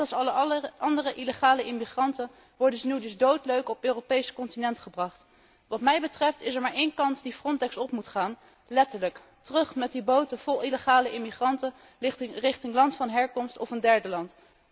Net als alle andere illegale immigranten worden ze nu dus doodleuk op het Europees continent gebracht. Wat mij betreft is er maar een kant die Frontex op moet gaan, letterlijk terug met die boten vol illegale immigranten richting land van herkomst of een derde land.